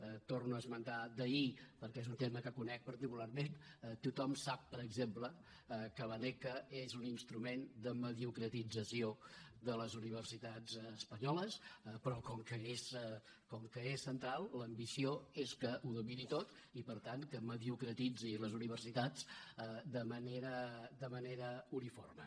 ho torno a esmentar d’ahir perquè és un tema que conec particularment tothom sap per exemple que l’aneca és un instrument de mediocratització de les universitats espanyoles però com que és central l’ambició és que ho domini tot i per tant que mediocratitzi les universitats de manera uniforme